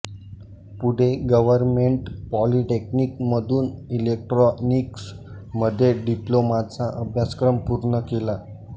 पुढे गव्हर्नमेंट पॉलिटेक्निककमधून electronics मध्ये डिप्लोमाचा अभ्यासक्रम पूर्ण केला